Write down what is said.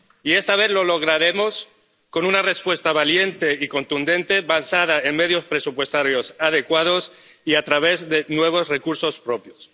Y esta vez lo lograremos con una respuesta valiente y contundente, basada en medios presupuestarios adecuados y a través de nuevos recursos propios.